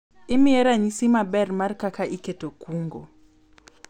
imiye ranyisi maber mar kaka iketo kungo